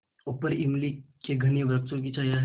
ऊपर इमली के घने वृक्षों की छाया है